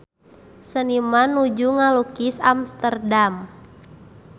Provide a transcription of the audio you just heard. Seniman nuju ngalukis Amsterdam